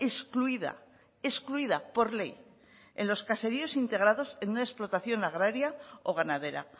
excluida excluida por ley en los caseríos integrados en una explotación agraria o ganadera